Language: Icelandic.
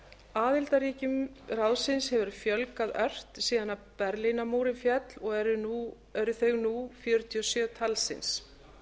aðildarríkjum ráðsins hefur fjölgað ört síðan berlínarmúrinn féll og eru þau nú fjörutíu og sjö talsins